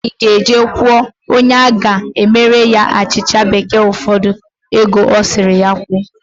Ifeanyi ga-eje kwụọ onye ga-emere ha achịcha bekee ụfọdụ ego ọ sịrị ha kwụọ.